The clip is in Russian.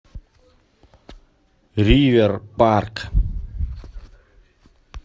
ривер парк